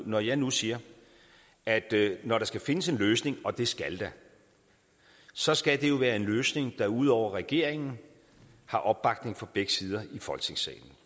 når jeg nu siger at når der skal findes en løsning og det skal der så skal det jo være en løsning der udover regeringen har opbakning fra begge sider i folketingssalen